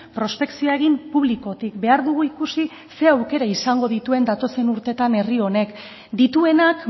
prospekzioa egin publikotik behar dugu ikusi zer aukera izango dituen datozen urtetan herri honek dituenak